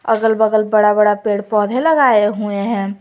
अगल बगल बड़ा बड़ा पेड़ पौधे लगाए हुए है।